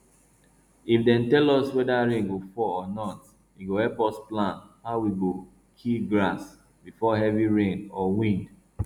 if dem tell us whether rain go fall or not e go help us plan how we go kill grass before heavy rain or wind